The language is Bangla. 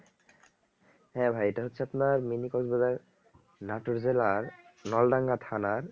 হ্যাঁ ভাই এইটা হচ্ছে আপনার mini কক্স বাজার নাটোর জেলার নলডাঙ্গা থানার